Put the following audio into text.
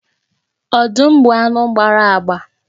Ọdụm bụ anụ gbara agba.